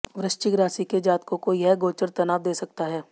वृश्चिक राशि के जातकों को यह गोचर तनाव दे सकता है